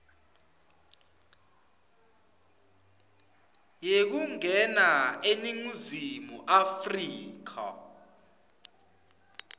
yekungena eningizimu afrika